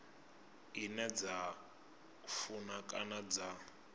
ine dza funa kana dza